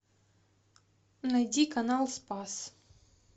найди канал спас